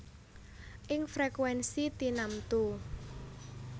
Ing frekuènsi tinamtu